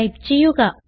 type ചെയ്യുക